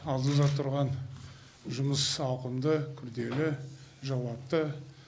алдымызда тұрған жұмыс ауқымды күрделі жауапты